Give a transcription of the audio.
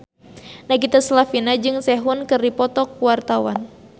Nagita Slavina jeung Sehun keur dipoto ku wartawan